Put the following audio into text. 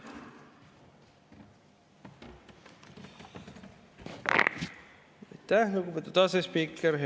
Aitäh, lugupeetud asespiiker!